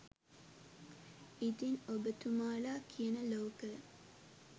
ඉතින් ඔබ තුමාලා කියන ලෝකය